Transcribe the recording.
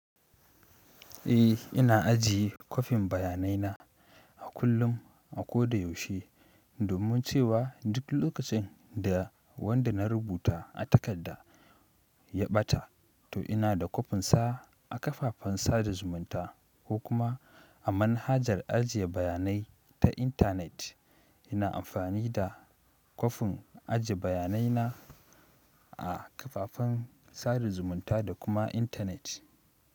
Eh ina ajiye kwafin bayanai na a kullum a ko da yaushe domin cewa duk lokacin da wanda na rubuta a takarda ya ɓata to ina da kwafin sa a kafafen sada zumunta ko kuma a manhajar ajiye bayanai ta intanet. Ina amfani da kwafin ajiye bayanai na a kafafen sada zumunta da kuma intanet.